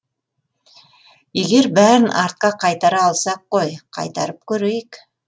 егер бәрін артқа қайтара алсақ қой қайтарып көрейік